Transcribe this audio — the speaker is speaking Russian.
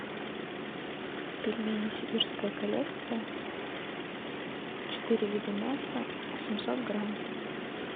пельмени сибирская коллекция четыре вида мяса семьсот грамм